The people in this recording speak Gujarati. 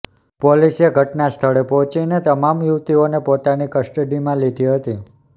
પોલીસે ઘટના સ્થળે પહોંચીને તમામ યુવતીઓને પોતાની કસ્ટડીમાં લીધી હતી